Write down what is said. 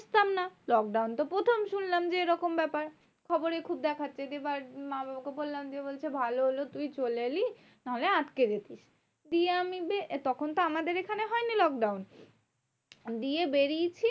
Lockdown তো প্রথম শুনলাম যে এরকম ব্যাপার খবরে খুব দেখাচ্ছে। যে মা বাবাকে বললাম যে, বলছে ভালো হলো তুই চলে এলি নাহলে আটকে যেতিস। দিয়ে আমি তখন তো আমাদের এখানে হয়নি lockdown. দিয়ে বেড়িয়েছি